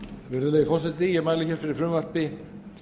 virðulegi forseti ég mæli fyrir frumvarpi